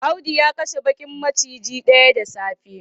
Audu ya kashe bakar maciji daya da safe